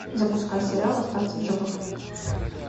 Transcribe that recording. запускай сериал остаться в живых